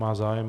Má zájem.